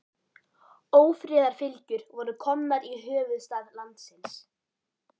Ófriðarfylgjur voru komnar í höfuðstað landsins.